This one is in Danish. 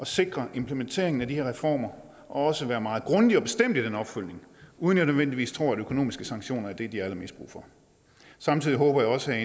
sikre implementeringen af de her reformer og også være meget grundig og bestemt i den opfølgning uden at jeg nødvendigvis tror at økonomiske sanktioner er det de har allermest brug for samtidig håber jeg også at